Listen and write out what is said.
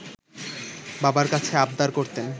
বাবার কাছে আবদার করতেন